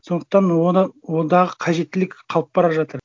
сондықтан ондағы қажеттілік қалып бара жатыр